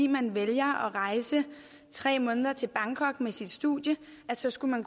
man vælger at rejse tre måneder til bangkok med sit studie skal man